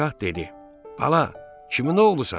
Padşah dedi: Bala, kimin oğlusan?